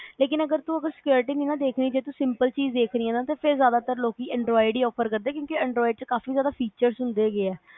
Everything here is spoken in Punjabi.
ਲੇਕਿਨ ਜੇ ਅਗਰ ਤੂੰ ਉਸਦੀ security ਨਹੀਂ ਦੇਖਣੀ ਜੇ ਤੂੰ simple ਚੀਜ਼ ਦੇਖਣੀ ਆ ਨਾ ਫਿਰ ਜਿਆਦਾਤਰ ਲੋਕ android ਹੀ offer ਕਰਦੇ ਕਿਉਕਿ android ਚ ਕਾਫੀ ਜ਼ਿਆਦਾ features ਹੁੰਦੇ ਹੈਗੇ ਆ